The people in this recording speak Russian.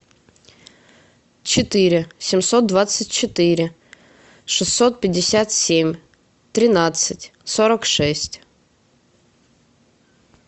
четыре семьсот двадцать четыре шестьсот пятьдесят семь тринадцать сорок шесть